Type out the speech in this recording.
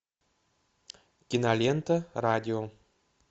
кинолента радио